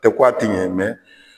Tɛ ko a ti ɲɛ mɛn